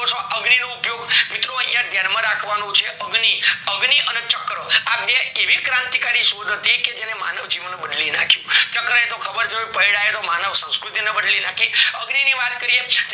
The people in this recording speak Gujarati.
અગ્નિ નો ઉપયોગ મિત્રો યા ધ્યાન માં રાખવાનું છે અગ્નિ, અગ્નિ અને ચક્ર આ બે એવી ક્રાંતિ કારી હતી કે જેને માનવ જીવન બદલી નાખ્યું ચક્ર ની ખબર પૈય્ડા એ માનવ સંસ્કૃતિ ને બદલી નાખી અગ્નિ ની વાત કરીએ